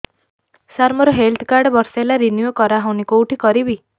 ସାର ମୋର health card ବର୍ଷେ ହେଲା ରିନିଓ କରା ହଉନି କଉଠି କରିବି